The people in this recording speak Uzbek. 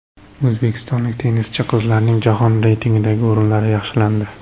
O‘zbekistonlik tennischi qizlarning jahon reytingidagi o‘rinlari yaxshilandi.